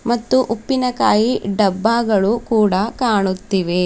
ಮತ್ತು ಉಪ್ಪಿನಕಾಯಿ ಡಬ್ಬಗಳು ಕೂಡ ಕಾಣುತ್ತಿವೆ.